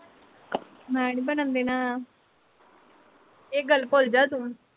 ਮੈਨੀ ਬਣਨ ਦੇਣਾ ਏਹ ਗੱਲ ਭੁੱਲਜਾ ਤੂੰ